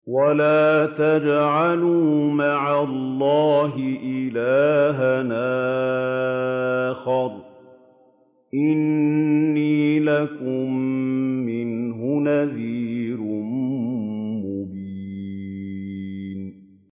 وَلَا تَجْعَلُوا مَعَ اللَّهِ إِلَٰهًا آخَرَ ۖ إِنِّي لَكُم مِّنْهُ نَذِيرٌ مُّبِينٌ